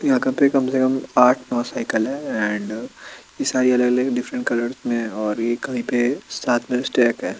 यहाँ कम से कम से कम आठ नौ सायकल है अँड ये सारी अलग अलग डिफ्रेंट कलर्स में और एक कही पे --